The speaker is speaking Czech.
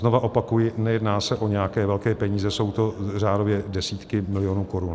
Znovu opakuji, nejedná se o nějaké velké peníze, jsou to řádově desítky milionů korun.